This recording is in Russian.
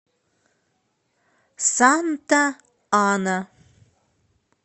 санта ана